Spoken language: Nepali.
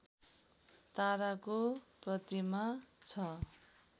ताराको प्रतिमा छ